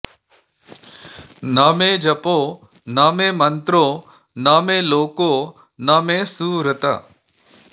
न मे जपो न मे मन्त्रो न मे लोको न मे सुहृत्